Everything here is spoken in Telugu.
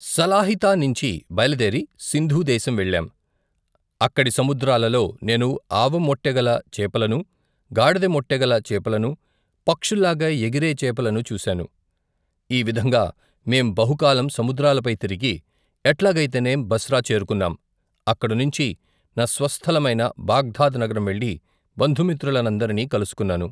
సలాహితానించి బయలుదేరి సింధు దేశం వెళ్ళాం, అక్కడి సముద్రాలలో, నేను ఆవుముట్టెగల చేపలనూ గాడిదముట్టెగల చేపలనూ, పక్షుల్లాగా ఎగిరే చేపలనూ చూశాను, ఈ విధంగా మేం బహుకాలం, సముద్రాలపై తిరిగి, ఎట్లాగైతెనేం బస్రా చేరుకున్నాం అక్కడినుంచి, నా స్వస్థల మైన బగ్దాద్ నగరం వెళ్లి బంధుమిత్రుల నందరినీ కలుసుకున్నాను.